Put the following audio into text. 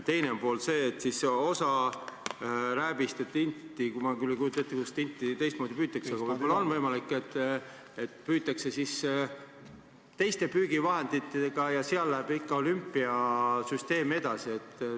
Teine pool on see, et osa rääbist ja tinti – ma küll ei kujuta ette, kuidas tinti teistmoodi püütakse, aga võib-olla on võimalik – püütakse teiste püügivahenditega ja seal läheb ikka olümpiasüsteem edasi.